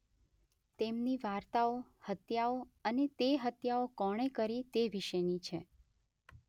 તેમની વાર્તાઓ હત્યાઓ અને તે હત્યાઓ કોણે કરી તે વિશેની છે.